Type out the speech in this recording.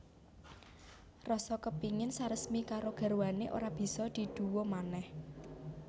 Rasa kepingin saresmi karo garwané ora bisa diduwa manèh